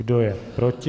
Kdo je proti?